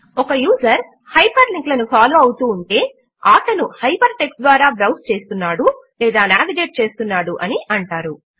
ఒక user hyperlink లను follow అవుతూ ఉంటే ఆటను హైపర్ టెక్స్ట్ ద్వారా బ్రౌజ్ చేస్తున్నాడు లేదా నావిగేట్ చేస్తున్నాడు అని అంటారు